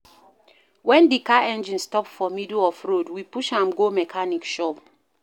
Wen di car engine stop for middle of road, we push am go mechanic shop.